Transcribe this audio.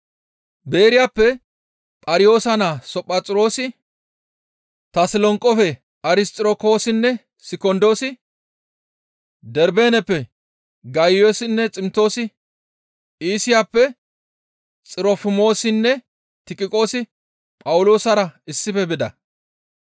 Beeriyappe Phariyoosa naa Sophaxiroosi, Tasolonqefe Arisxirokoosinne Sikondoosi, Darbeeneppe Gayiyoosinne Ximtoosi, Iisiyappe Xirofimoosinne Tiqiqoosi Phawuloosara issife bida.